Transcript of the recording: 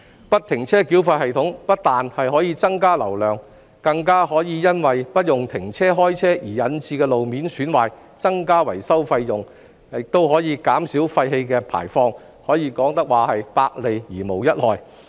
不停車繳費系統不但可增加交通流量，還可避免因停車/開車而引致的路面損壞，減少維修費用，更可減少廢氣排放，可說是百利而無一害。